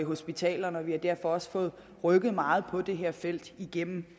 hospitalerne og vi er derfor også rykket meget på det her felt igennem